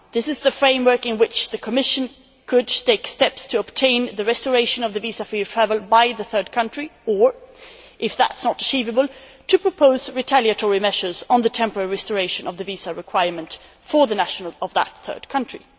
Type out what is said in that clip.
This is the framework in which the Commission could take steps to obtain the restoration of the visa free travel by the third country, or if that is not achievable, to propose retaliatory measures on the temporary restoration of the visa requirement for nationals of that third country.